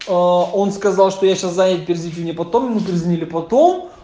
он сказал что я сейчас занят перезвоните мне потом мы перезвонили потом